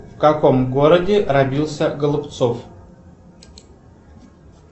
в каком городе родился голубцов